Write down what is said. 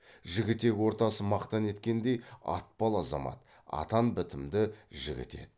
жігітек ортасы мақтан еткендей атпал азамат атан бітімді жігіт еді